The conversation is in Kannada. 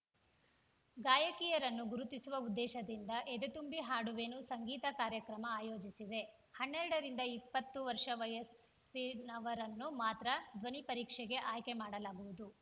ಗಾಯಕಿಯರನ್ನು ಗುರುತಿಸುವ ಉದ್ದೇಶದಿಂದ ಎದೆತುಂಬಿ ಹಾಡುವೆನು ಸಂಗೀತ ಕಾರ್ಯಕ್ರಮ ಆಯೋಜಿಸಿದೆ ಹನ್ನೆರಡರಿಂದ ಇಪ್ಪತ್ತು ವರ್ಷ ವಯಸ್ಸಿನವರನ್ನು ಮಾತ್ರ ಧ್ವನಿ ಪರೀಕ್ಷೆಗೆ ಆಯ್ಕೆ ಮಾಡಲಾಗುವುದು